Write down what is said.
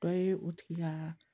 Dɔ ye o tigi ka